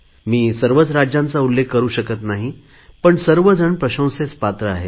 मी सर्वच राज्यांचा उल्लेख करु शकत नाही पण सर्वजण प्रशंसेस पात्र आहेत